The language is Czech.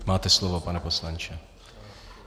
Máte slovo, pane poslanče.